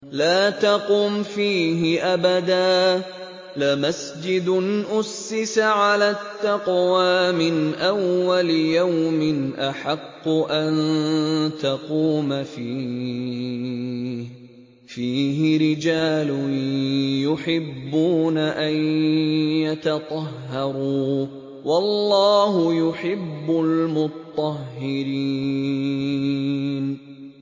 لَا تَقُمْ فِيهِ أَبَدًا ۚ لَّمَسْجِدٌ أُسِّسَ عَلَى التَّقْوَىٰ مِنْ أَوَّلِ يَوْمٍ أَحَقُّ أَن تَقُومَ فِيهِ ۚ فِيهِ رِجَالٌ يُحِبُّونَ أَن يَتَطَهَّرُوا ۚ وَاللَّهُ يُحِبُّ الْمُطَّهِّرِينَ